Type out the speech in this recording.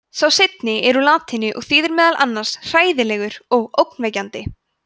sá seinni er úr latínu og þýðir meðal annars „hræðilegur“ og „ógnvekjandi“